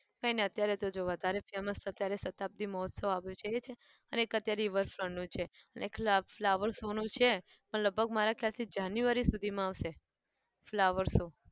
કઈ નઈ અત્યારે તો જો વધારે famous તો અત્યારે શતાબ્દી મહોત્સવ આવ્યો છે એ છે અને એક અત્યારે river front નું છે અને એક flower show નું છે પણ લગભગ મારા ખ્યાલથી january સુધીમાં આવશે. flower show